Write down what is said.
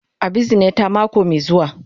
A bizine ta mako mai zuwa.